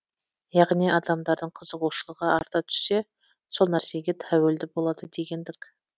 яғни адамдардың қызығушылығы арта түссе сол нәрсеге тәуелді болады дегендік